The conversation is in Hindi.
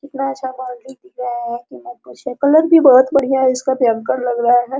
इतना अच्छा बाउंड्री दिख रहा है की मत पूछिए कलर भी बहोत बढियाँ है इसका भयंकर लग रहा है।